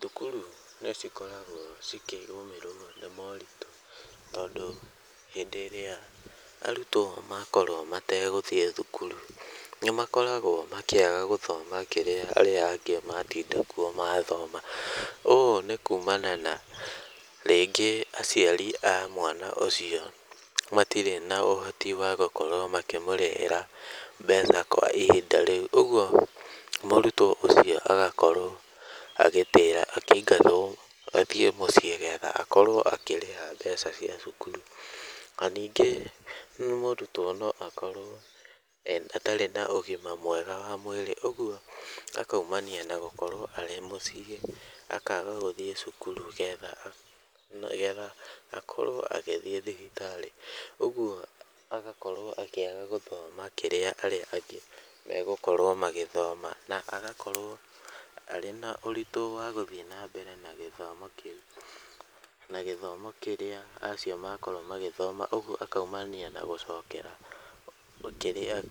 Thukuru nĩ cikoragwo cikĩgũmĩrwo nĩ moritũ, tondũ hĩndĩ ĩrĩa arutwo makorwo mategũthiĩ thukuru nĩmakoragwo makĩaga gũthoma kĩrĩa aya angĩ matinda kuo mathoma, ũũ nĩ kuumana na rĩngĩ aciari a mwana ũcio matirĩ na ũhoti wa gũkorwo makĩmũrĩhĩra mbeca kwa ihinda rĩu , ũgwo mũrutwo ũcio agakorwo agĩtĩra akĩingatwo athiĩ mũciĩ getha akorwo akĩrĩha mbeca cia cukuru, na ningĩ mũrutwo no akorwo atarĩ na ũgima mwega wa mwĩrĩ ũgwo akaumania na gũkorwo arĩ mũciĩ, akaaga gũthiĩ cukuru getha akorwo agĩthiĩ thibitarĩ , ũgwo agakorwo akĩaga gũthoma kĩrĩa arĩa angĩ megũkorwo magĩthoma , na agakorwo arĩ na ũritũ wa gũthiĩ na mbere na gĩthomo kĩu, na gĩthomo kĩrĩa acio makorwo magĩthoma , ũgwo akaumania na gũcokera ,kĩrĩa